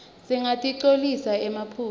singatinqcolisi emaphaphu